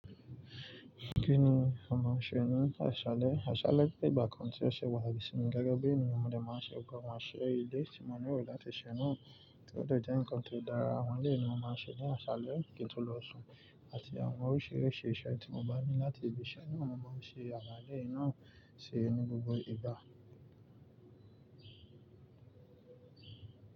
Kí ni àwọn máa ń ṣe nínú aṣálẹ́? Aṣálẹ́ pé ìgbà kan tí ọṣẹ wà lẹ́sìn mi gágá bí ènìyàn mo ní máa ṣe wí pé máa ṣe ilé tí mo nílò láti ṣe náà, kí ó tó jẹ́ ǹkan tó dára. Àwọn eléyi ni wọ́n máa ń ṣe ní aṣálẹ́ kí n tó lọ sún àti àwọn oríṣiríṣi iṣẹ́ tí mo bá ní láti lè ṣe ní ọ̀nà tí wọ́n ṣe àgbàlé náà ṣe nínú gbogbo ìgbà.